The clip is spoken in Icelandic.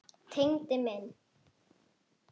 Tengdi minn.